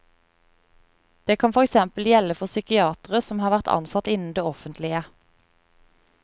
Det kan for eksempel gjelde for psykiatere som har vært ansatt innen det offentlige.